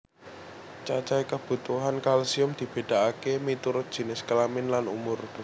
Cacahé kabutuhan kalsium dibedakaké miturut jinis kelamin lan umur